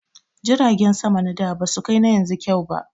Jiragen sama na da ba su kai na yanzu kyau ba